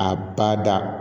A ba da